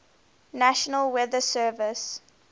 national weather service